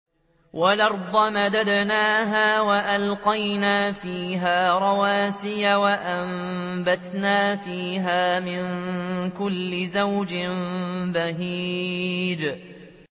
وَالْأَرْضَ مَدَدْنَاهَا وَأَلْقَيْنَا فِيهَا رَوَاسِيَ وَأَنبَتْنَا فِيهَا مِن كُلِّ زَوْجٍ بَهِيجٍ